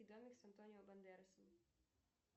антонио бандеросом